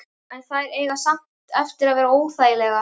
En þær eiga samt eftir að verða óþægilegar.